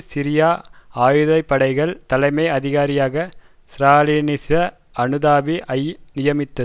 Syria ஆயுத படைகளின் தலைமை அதிகாரியாக ஸ்ராலினிச அனுதாபி ஐ நியமித்தது